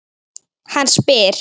Hann spyr.